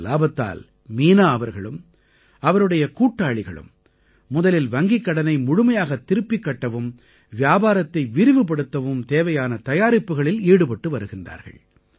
இந்த இலாபத்தால் மீனா அவர்களும் அவருடைய கூட்டாளிகளும் முதலில் வங்கிக் கடனை முழுமையாகத் திருப்பிக் கட்டவும் வியாபாரத்தை விரிவுபடுத்தவும் தேவையான தயாரிப்புகளில் ஈடுபட்டு வருகின்றார்கள்